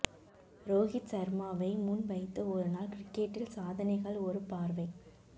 ரோஹித் சர்மாவை முன் வைத்து ஒருநாள் கிரிக்கெட்டில் சாதனைகள் ஒரு பார்வை